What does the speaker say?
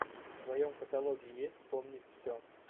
в твоем каталоге есть вспомнить все